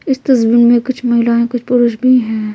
इस तस्वीर में कुछ महिलाएं कुछ पुरुष भी हैं।